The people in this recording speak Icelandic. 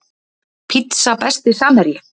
Pizza Besti samherji?